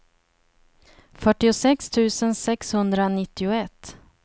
fyrtiosex tusen sexhundranittioett